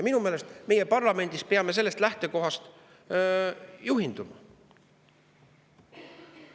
Minu meelest peame meie parlamendis sellest lähtekohast juhinduma.